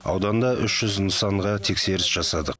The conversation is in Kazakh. ауданда үш жүз нысанға тексеріс жасадық